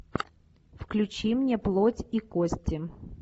включи мне плоть и кости